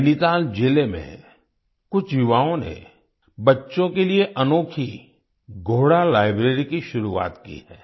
नैनीताल जिले में कुछ युवाओं ने बच्चों के लिए अनोखी घोड़ा लाइब्रेरी की शुरुआत की है